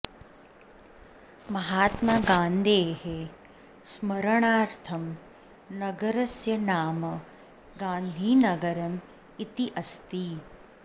महात्मा गान्धेः स्मरणार्थं नगरस्य नाम गान्धिनगरम् इति अस्ति